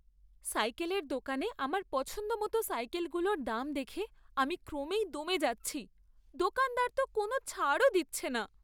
সাইকেলের দোকানে আমার পছন্দমতো সাইকেলগুলোর দাম দেখে আমি ক্রমেই দমে যাচ্ছি। দোকানদার তো কোনও ছাড়ও দিচ্ছে না।